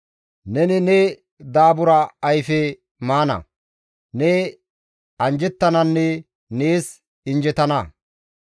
Neni ne daabura ayfe maana; ne anjjettananne nees injjetana.